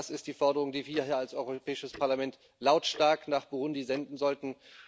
Das ist die Forderung, die wir hier als Europäisches Parlament lautstark nach Burundi senden sollten.